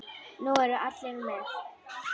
Nú eru allir með!